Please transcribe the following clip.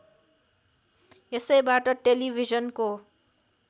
यसैबाट टेलिभिजनको